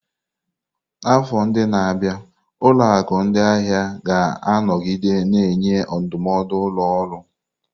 N'afọ ndị na-abịa, ụlọ akụ ndị ahịa ga-anọgide na-enye ndụmọdụ ụlọ ọrụ.